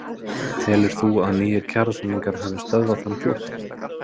Telur þú að nýir kjarasamningar hafi stöðvað þann flótta?